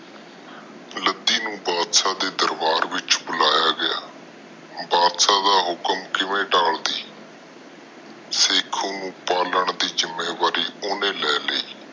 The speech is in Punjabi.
ਲੱਦੀ ਨੂੰ ਬਾਦਸ਼ਾਹ ਦੇ ਦਰਬਾਰ ਵਿਚ ਬੁਲਾਇਆ ਗਿਆ ਬਾਦਸ਼ਾਹ ਦਾ ਹੁਕਮ ਕਿਵੇਂ ਤਾਲਕਦੀ ਸ਼ੱਕੂ ਨੂੰ ਪਾਲਣ ਦੇ ਜਿੰਮੇਵਾਰੀ ਓਹਨੂੰ ਦਿਤੀ